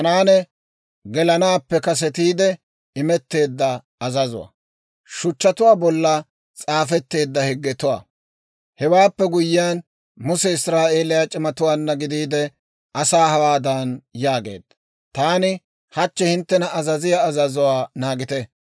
Hewaappe guyyiyaan, Muse Israa'eeliyaa c'imatuwaanna gidiide, asaa hawaadan yaageedda; «Taani hachchi hinttena azaziyaa azazuwaa naagite.